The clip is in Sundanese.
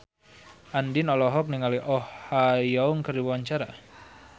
Andien olohok ningali Oh Ha Young keur diwawancara